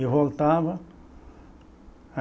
E voltava.